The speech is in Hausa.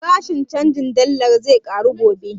Farashin canjin dallar zai ƙaru gobe